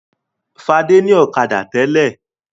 Fadé ní ọ̀kadà tẹ́lẹ̀.